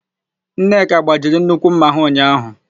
Nneka gbajiri nnukwu ḿmà ha ụnyaahụ.